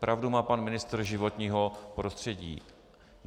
Pravdu má pan ministr životního prostředí.